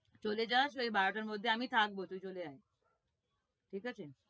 চলে যাস ওই বারোটার মধ্যে আমি থাকবো, তুই চলে আয় ঠিক আছে?